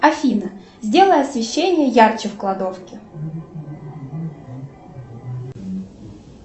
афина сделай освещение ярче в кладовке